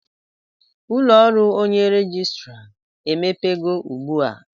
Ụlọ ọrụ onye rejistra emepego ugbu a?